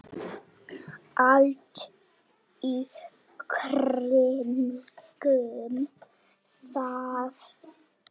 Allt í kringum það.